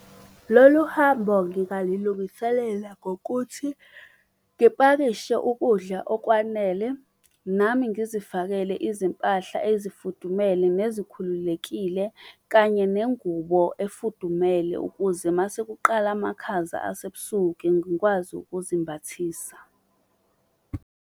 Lolu hambo ngingali lungiselela ngokuthi ngipakishe ukudla okwanele. Nami ngizifakele izimpahla ezifudumele nezikhululekile kanye nengubo efudumele ukuze masekuqala amakhaza asebusuku ngikwazi ukuzimbathisa.